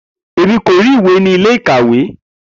Emi ko ri iwe ni ile-ikawe.